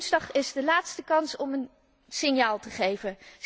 Woensdag is de laatste kans om een signaal te geven.